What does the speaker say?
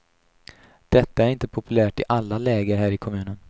Detta är inte populärt i alla läger här i kommunen.